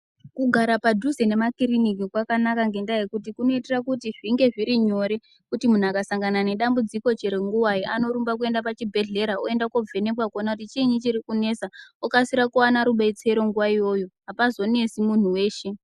Kugara padhuze nemakiriniki kwakanaka ngendaa yekuti kunoitira kuti zvinge zviri nyore kuti munhu akasangana nedambudziko chero nguwai anorumba kuenda pachibhedhlera oenda koovhenekwa kuona kuti chiinyi chiri kunesa, okasira kuwana rubetsero nguwa yona iyoyo. Apazonesi muntu weshe.